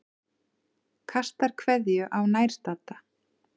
Kastar kveðju á nærstadda.